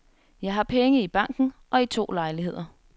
Jeg har penge i banken og i to lejligheder.